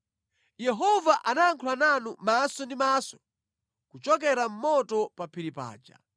Yehova anayankhula nanu maso ndi maso kuchokera mʼmoto pa phiri paja.